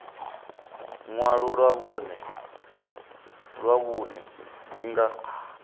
ṅwalo ḽa vhuṋe dzi nga